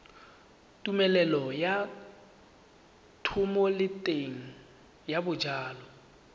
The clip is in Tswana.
tumelelo ya thomeloteng ya dijalo